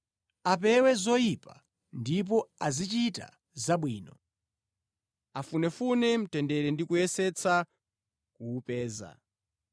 Apewe zoyipa, ndipo azichita zabwino. Afunefune mtendere ndi kuyesetsa kuwupeza.